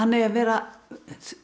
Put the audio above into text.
eigi að vera